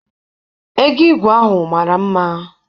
Ego igwe ahụ mara mma.